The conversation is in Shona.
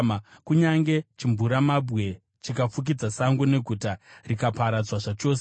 Kunyange chimvuramabwe chikafukidza sango, neguta rikaparadzwa zvachose,